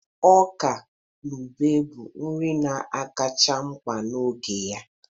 Ọka na ube bụ nri na akacha m mma n'oge ya